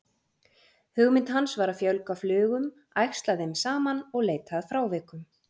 Hugmynd hans var að fjölga flugum, æxla þeim saman og leita að frávikum.